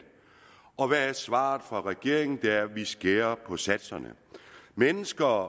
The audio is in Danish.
og hvad er svaret fra regeringens side det er vi skærer på satserne mennesker